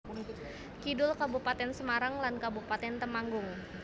Kidul Kabupatèn Semarang lan Kabupatèn Temanggung